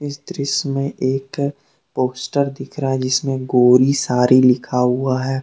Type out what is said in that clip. इस दृश्य में एक पोस्टर दिख रहा है जिसमें गोरी सारी लिखा हुआ है।